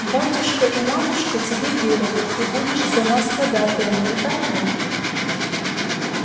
батюшка и матушка тебе верят ты будешь за нас ходатаем не так ли